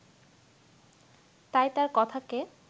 তাই তার কথাকে